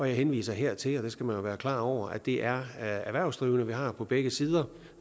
jeg henviser her til og det skal man jo være klar over at det er erhvervsdrivende vi har på begge sider